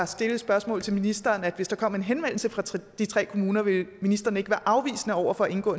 stillet et spørgsmål til ministeren at hvis der kom en henvendelse fra de tre kommuner ville ministeren ikke være afvisende over for at indgå